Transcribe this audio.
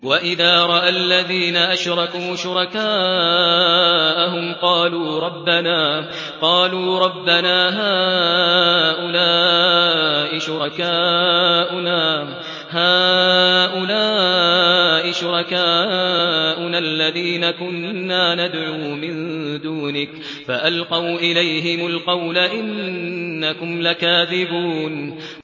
وَإِذَا رَأَى الَّذِينَ أَشْرَكُوا شُرَكَاءَهُمْ قَالُوا رَبَّنَا هَٰؤُلَاءِ شُرَكَاؤُنَا الَّذِينَ كُنَّا نَدْعُو مِن دُونِكَ ۖ فَأَلْقَوْا إِلَيْهِمُ الْقَوْلَ إِنَّكُمْ لَكَاذِبُونَ